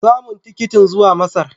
Samu tikitin zuwa Masar.